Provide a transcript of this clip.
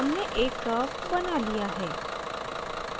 हमने एक curve बना लिया है